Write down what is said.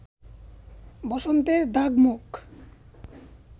বসন্তের দাগ-মুখ